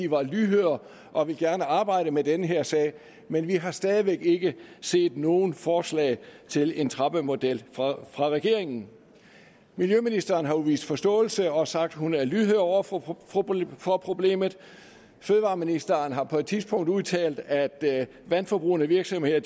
var lydhør og gerne ville arbejde med den her sag men vi har stadig væk ikke set noget forslag til en trappemodel fra regeringen miljøministeren har jo vist forståelse og sagt at hun er lydhør over for for problemet fødevareministeren har på et tidspunkt udtalt at vandforbrugende virksomheder